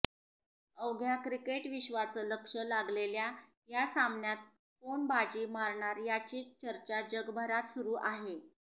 अवघ्या क्रिकेटविश्वाचं लक्ष लागलेल्या या सामन्यात कोण बाजी मारणार याचीच चर्चा जगभरात सुरु आहे